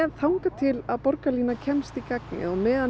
þangað til að borgarlínan kemst í gagnið og á meðan